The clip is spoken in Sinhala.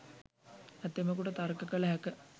ඇතැමකුට තර්ක කළ හැක.